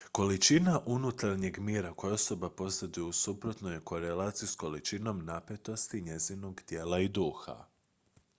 količina unutarnjeg mira koju osoba posjeduje u suprotnoj je korelaciji s količinom napetosti njezinog tijela i duha